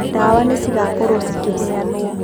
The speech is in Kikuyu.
Ndawa nĩ cigakorwo cikĩheanwo.